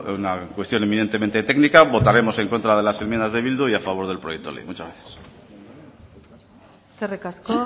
una cuestión inminentemente técnica votaremos en contra de las enmiendas de bildu y a favor del proyecto de ley muchas gracias eskerrik asko